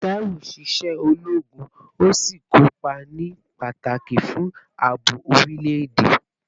Taiwo ṣiṣẹ́ ológun, ó sì kópa ní pàtàkì fún ààbò orílẹ̀-èdè